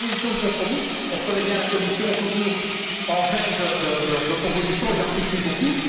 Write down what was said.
Quant aux propositions de compromis, on reconnaît bien la Commission, toujours en veine de propositions, et j'apprécie beaucoup.